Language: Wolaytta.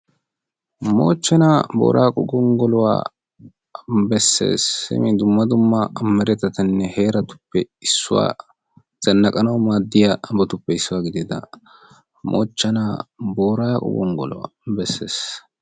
Moochchena Booraqqo gonggoluwa beessees. Simi Dumma dumma meretettanne heeratuppe issuwa zannaqqanawu maaddiyabatuppe issuwa gidida Moochena Booraqqo gonggoluwa beessees.